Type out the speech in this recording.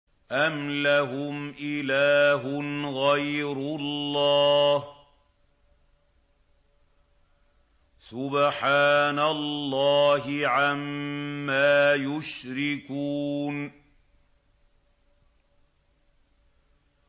أَمْ لَهُمْ إِلَٰهٌ غَيْرُ اللَّهِ ۚ سُبْحَانَ اللَّهِ عَمَّا يُشْرِكُونَ